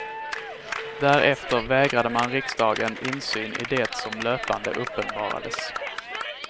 Därefter vägrade man riksdagen insyn i det som löpande uppenbarades.